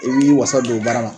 I min'i wasa don o baara la